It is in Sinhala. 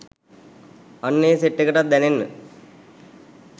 අන්න ඒ සෙට් එකටත් දැනෙන්න